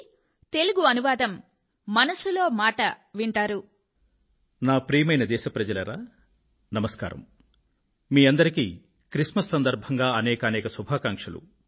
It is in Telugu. క్రిస్ మస్ సందర్భంగా మీ అందరికీ అనేకానేక శుభాకాంక్షలు